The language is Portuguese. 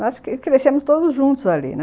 Nós crescemos todos juntos ali, né?